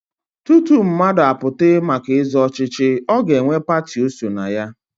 Tutu mmadụ apụta maka ịzọ ọchịchị, ọ ga-enwe pati o so na ya.